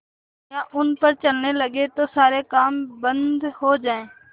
दुनिया उन पर चलने लगे तो सारे काम बन्द हो जाएँ